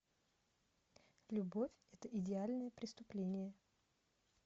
любовь это идеальное преступление